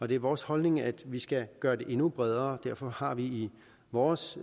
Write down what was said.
det er vores holdning at vi skal gøre det endnu bredere og derfor har vi i vores